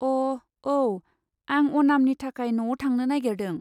अ, औ। आं अनामनि थाखाय न'आव थांनो नागेरदों।